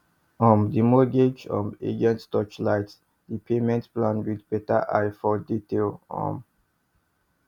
um the mortgage um agent torchlight the payment plan with better eye for detail um